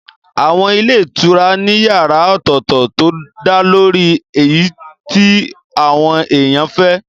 Àwọn ilé ìtura ní yàrá ọ̀tọ̀tọ̀ tó dálórí èyí tí àwọn èèyàn fẹ́